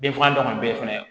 Denfa tɔ minnu bɛ fɛnɛ